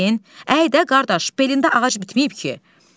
Baş əydin, əy də, qardaş, belində ağac bitməyib ki.